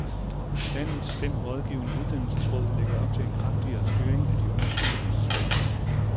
Landets fem rådgivende uddannelsesråd lægger op til en kraftigere styring af de unges uddannelsesvalg.